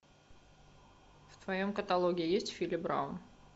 в твоем каталоге есть фили браун